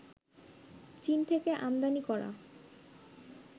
চীন থেকে আমদানি করা